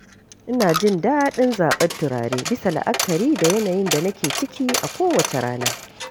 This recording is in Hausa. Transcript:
Ina jin daɗin zaɓar turare bisa la'akari da yanayin da nake ciki a kowace rana.